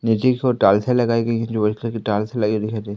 नीचे की ओर टाइल्सें लगाई गई हैं जो व्हाइट कलर की टाइल्स लगी दिखाई दे--